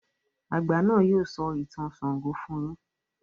àgbà náà yóò sọ ìtàn ṣàngó fún yín.